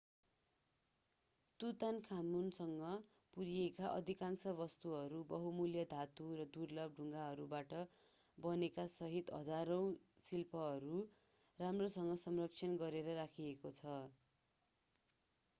तुतानखामुनसँग पुरिएका अधिकांश वस्तुहरू बहुमूल्य धातु र दुर्लभ ढुङ्गाहरूबाट बनेकासहित हजारौं शिल्पहरू राम्रोसँग संरक्षण गरेर राखिएको छ